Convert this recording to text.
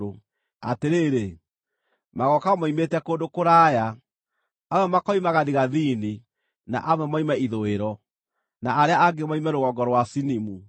Atĩrĩrĩ, magooka moimĩte kũndũ kũraya: amwe makoima gathigathini, na amwe moime ithũĩro, na arĩa angĩ moime rũgongo rũa Sinimu.”